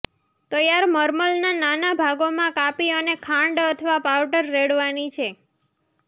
તૈયાર મર્મલના નાના ભાગોમાં કાપી અને ખાંડ અથવા પાવડર રેડવાની છે